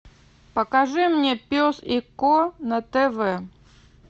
покажи мне пес и ко на тв